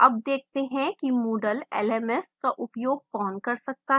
अब देखते हैं कि moodle lms का उपयोग कौन कर सकता है: